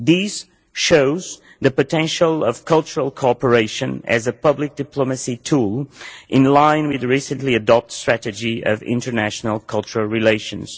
This shows the potential of cultural cooperation as a public diplomacy tool in line with the recently adopted strategy of international cultural relations.